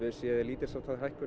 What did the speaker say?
séð lítils háttar hækkun